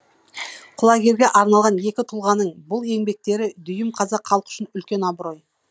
құлагерге арнаған екі тұлғаның бұл еңбектері дүйім қазақ халқы үшін үлкен абырой